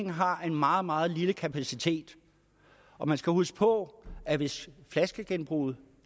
har en meget meget lille kapacitet og man skal huske på at hvis flaskegenbruget